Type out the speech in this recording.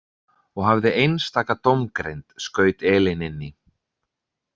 Og hafði einstaka dómgreind, skaut Elín inn í.